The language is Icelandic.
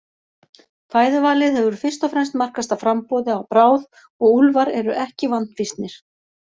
Fæðuvalið hefur fyrst og fremst markast af framboði á bráð og úlfar eru ekki vandfýsnir.